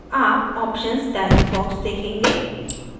आप options dialog box देखेंगे